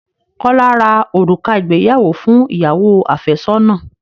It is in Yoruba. Kọ́lá rá òrùka ìgbéyàwó fún ìyàwó àfẹ́sọ́nà.